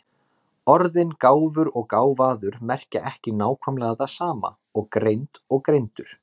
Orðin gáfur og gáfaður merkja ekki nákvæmlega það sama og greind og greindur.